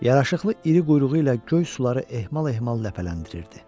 Yaraşıqlı iri quyruğu ilə göy suları ehmal-ehmal ləpələndirirdi.